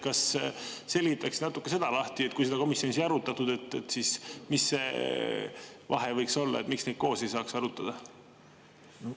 Kas selgitaksite natuke seda lahti, kui seda komisjonis ei arutatud, mis see vahe võiks olla, et miks neid koos ei saaks arutada?